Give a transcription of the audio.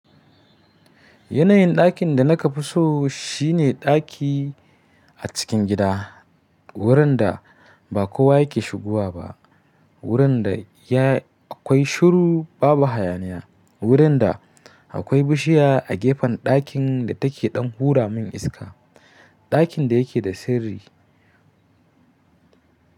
Yanayin dakin da na ka fi so shine ɗaki a cikin gida, wurin da ba kowa yake shigowa ba. Wurin da akwai shiru babu hayaniya, wurin da akwai bishiya a gefen ɗakin da take ɗan hura min iska. Ɗakin da yake da sirri.